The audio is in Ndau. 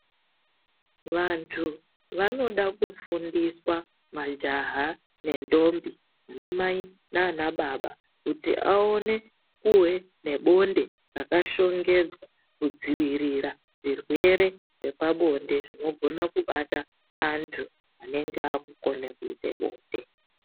Vantu vanoda kufundiswa majaha nendombi, vanamai, nanababa. Kuti aone kuve nebonde rakashongedzwa kudzivirira zvirwe zvepabonde zvinogona kubata antu anenge akukone kuite bonde.